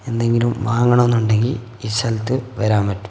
എന്തെങ്കിലും വാങ്ങണന്നുണ്ടെങ്കിൽ ഈ സ്ഥലത്ത് വരാൻ പറ്റും.